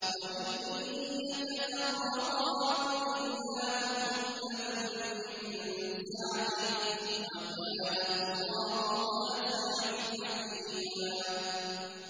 وَإِن يَتَفَرَّقَا يُغْنِ اللَّهُ كُلًّا مِّن سَعَتِهِ ۚ وَكَانَ اللَّهُ وَاسِعًا حَكِيمًا